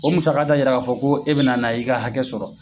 O musaka t'a yira ka fɔ ko e bɛna na i ka hakɛ sɔrɔ.